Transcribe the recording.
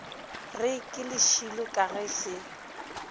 re ke lešilo ga se